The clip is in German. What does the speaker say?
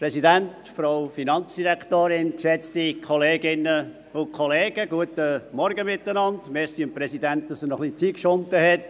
Vielen Dank dem Präsidenten, dass er noch etwas Zeit geschunden hat.